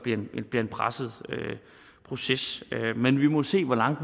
bliver en presset proces men vi må se hvor langt